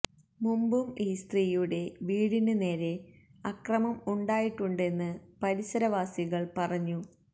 മുമ്പും ഈ സ്ത്രീയുടെ വീടിന് നേരെ അക്രമം ഉണ്ടായിട്ടുണ്ടെന്ന് പരിസരവാസികള് പറഞ്ഞു